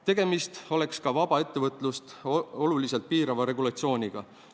Tegemist oleks ka vaba ettevõtlust oluliselt piirava regulatsiooniga.